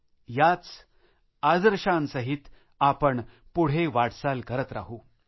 आपण याच आदर्शांसहित पुढे वाटचाल करत राहू